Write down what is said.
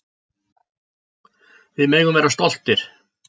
Við megum vera stoltir.